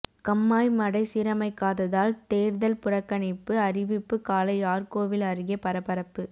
கண்மாய் மடை சீரமைக்காததால் தேர்தல் புறக்கணிப்பு அறிவிப்பு காளையார்கோவில் அருகே பரபரப்பு